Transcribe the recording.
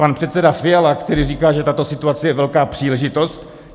Pan předseda Fiala, který říká, že tato situace je velká příležitost.